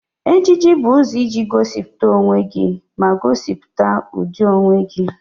Ejiji bụ ụzọ iji gosipụta onwe gị ma gosipụta ụdị onwe gị.